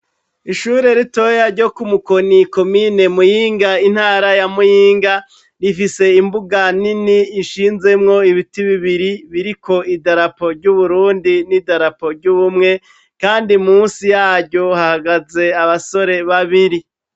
Ishure ritoyi ryo ku Mukoni, komine Muyinga, intara ya Muyinga rifise imbuga nini ishinzemwo ibiti bibiri biriko idarapo ry'Uburundi n'idarapo ry'ubumwe, kandi munsi yaryo hahagaze abasore babiri.